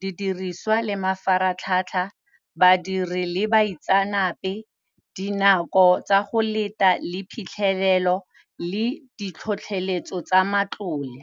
didiriswa le mafaratlhatlha, badiri le baitsanape, dinako tsa go leta, le phitlhelelo, le ditlhotlheletso tsa matlole.